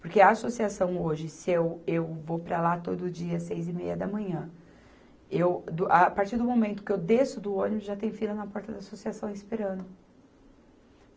Porque a associação hoje, se eu, eu vou para lá todo dia às seis e meia da manhã, eu, do, a partir do momento que eu desço do ônibus, já tem fila na porta da associação esperando.